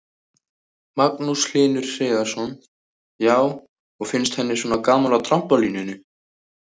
Magnús Hlynur Hreiðarsson: Já, og finnst henni svona gaman á trampólíninu?